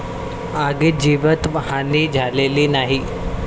आगीत जीवितहानी झालेली नाही.